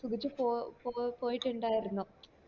സുഗിച്ച് പോ പോ പോയിട്ട് ഇണ്ടായിരുന്നു